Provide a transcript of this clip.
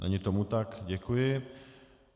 Není tomu tak, děkuji.